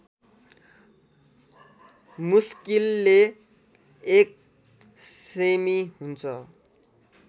मुस्किलले १ सेमि हुन्छ